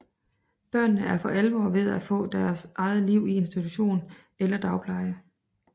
Børnene er for alvor ved at få deres eget liv i institution eller dagpleje